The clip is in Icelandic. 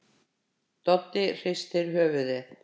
Doddi hristir höfuðið.